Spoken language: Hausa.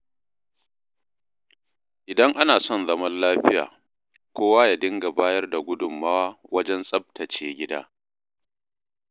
Idan ana son zaman lafiya, kowa ya dinga bayar da gudunmawa wajen tsaftace gida.